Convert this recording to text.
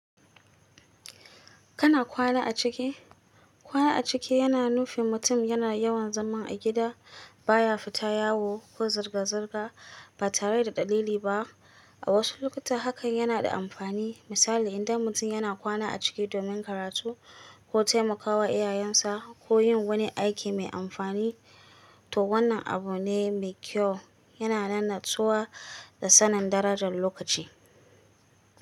Kana kwana a ciki? Kwana a ciki yana nufin mutum yana yawan zaman a gida, baya fita yawo ko zirga-zirga ba tare da dalili ba. A wasu lokuta hakan yana da amfani. Misali, idan mutum yana kwana a ciki domin karatu ko taimakawa iyayensa ko yin wani aiki mai amfani, toh wannan abu ne mai kyau. Yana nan natsuwa da sanin darajar lokaci.